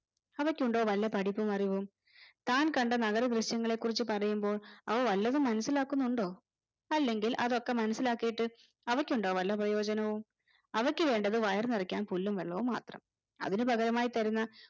അവയ്ക്കുണ്ടോ വല്ല പടിപ്പും അറിവും താൻ കണ്ട നഗരദൃശ്യങ്ങളെ കുറിച്ച് പറയുമ്പോൾ അവ വല്ലതും മനസിലാക്കുന്നുണ്ടോ അല്ലെങ്കിൽ അതൊക്കെ മനസിലാക്കിയിട്ട് അവയ്ക്കുണ്ടോ വല്ല പ്രയോജനവും അവയ്ക്ക് വേണ്ടത് വയറുനിറക്കാൻ പുല്ലും വെള്ളവും മാത്രം അതിനുപകരമായി തരുന്ന